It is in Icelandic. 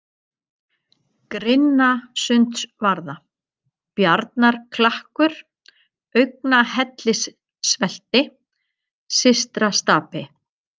Grynnstasundsvarða, Bjarnarklakkur, Augnahellissvelti, Systrastapi